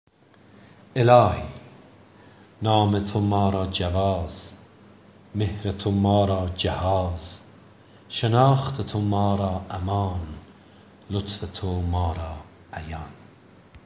الهی نام تو ما را جواز مهر تو ما را جهاز شناخت تو ما را امان لطف تو ما را عیان